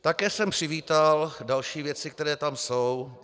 Také jsem přivítal další věci, které tam jsou.